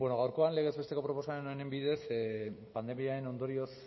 gaurkoan legez besteko proposamen honen bidez pandemiaren ondorioz